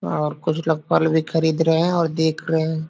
और कुछ लोग फल भी खरीद रहें हैं और देख रहें हैं।